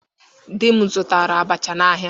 Di m zụtara abacha n'ahịa.